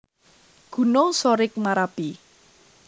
Gunung Sorik Marapi